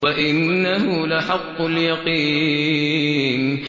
وَإِنَّهُ لَحَقُّ الْيَقِينِ